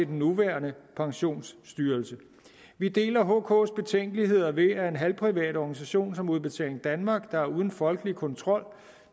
nuværende pensionsstyrelsen vi deler hks betænkeligheder ved at en halvprivat organisation som udbetaling danmark der er uden en folkelig kontrol